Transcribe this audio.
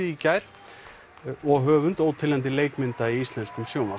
í gær og höfund óteljandi leikmynda í íslenskum sjónvarps